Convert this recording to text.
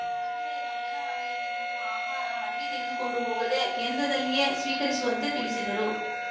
ಮಹಿಳೆಯರು ಅಂಗನವಾಡಿಯಲ್ಲಿ ನೀಡುವ ಆಹಾರ ಮನೆಗೆ ತೆಗೆದುಕೊಂಡು ಹೋಗದೇ ಕೇಂದ್ರದಲ್ಲಿಯೇ ಸ್ವೀಕರಿಸುವಂತೆ ತಿಳಿಸಿದರು